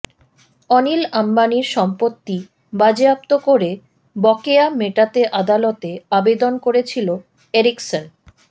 অনিল আম্বানীর সম্পত্তি বাজেয়াপ্ত করে বকেয়া মেটাতে আদালতে আবেদন করেছিল এরিকসন